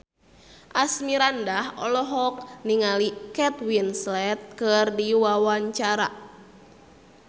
Asmirandah olohok ningali Kate Winslet keur diwawancara